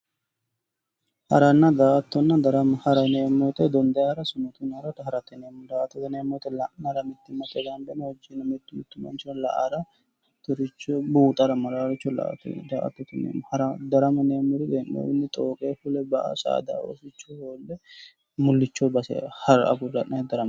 Haranna, daa"attonna darama, hara yinneemmo woyte dondanni hara, suutunni hara, harate yinneemmo, daa"ata yinneemmo woyte la'nara mittimmateni ikko mitu mitu manchi hara mittoricho buuxara maranotta daa"attote yinneemmo, darama yinneemmori hee'nonniwinni xooqe fule ba"a ,saada oosicho agarurre mulicho base agure ha'ra.